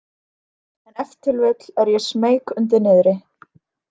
En ef til vill er ég smeyk undir niðri.